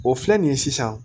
O filɛ nin ye sisan